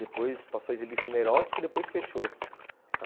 Depois passou a exibir filme erótico e depois fechou.